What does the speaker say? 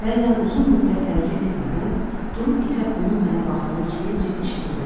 Bəzən uzun müddət hərəkət etmədən durub itə onun mənə baxdığı kimi ciddi şəkildə baxıram.